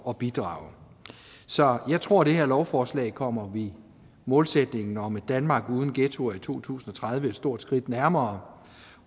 at bidrage så jeg tror det her lovforslag kommer vi målsætningen om et danmark uden ghettoer i to tusind og tredive et stort skridt nærmere